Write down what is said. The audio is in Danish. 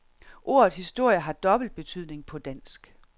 Ordet historie har dobbeltbetydning på dansk.